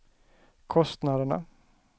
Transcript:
kostnaderna